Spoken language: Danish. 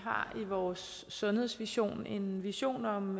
har i vores sundhedsvision en vision om